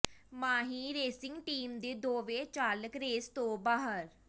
ਮਾਹੀ racing team ਦੇ ਦੋਵੇਂ ਚਾਲਕ ਰੇਸ ਤੋਂ ਬਾਹਰ